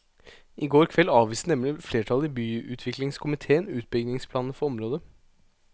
I går kveld avviste nemlig flertallet i byutviklingskomitéen utbyggingsplanene for området.